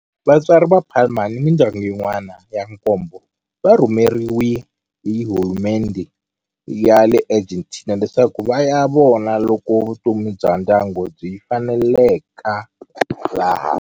Vatswari va Palma ni mindyangu yin'wana ya nkombo va rhumeriwe hi hulumendhe ya le Argentina leswaku va ya vona loko vutomi bya ndyangu byi faneleka laha.